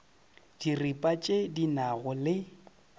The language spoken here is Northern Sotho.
diripa tše di nago le